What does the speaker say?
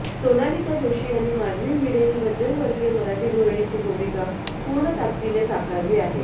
सोनालिका जोशी यांनी माधवी भिडे ही मध्यमवर्गीय मराठी गृहिणीची भूमिका पूर्ण ताकदीने साकारली आहे